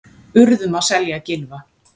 Urðum að selja Gylfa